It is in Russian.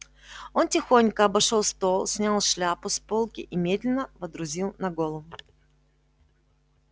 он тихонько обошёл стол снял шляпу с полки и медленно водрузил на голову